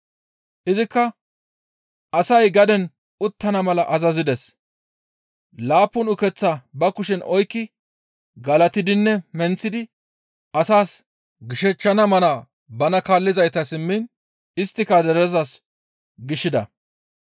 Izikka asay gaden uttana mala azazides; laappun ukeththaa ba kushen oykki galatidinne menththidi asaas gishechchana mala bana kaallizaytas immiin isttika derezas gishida.